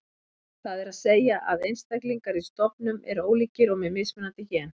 Það er að segja að einstaklingar í stofnum eru ólíkir og með mismunandi gen.